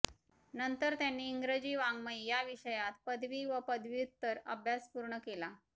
नंतर त्यांनी इंग्रजी वाङ्मय या विषयात पदवी व पदव्युत्तर अभ्यास पूर्ण केला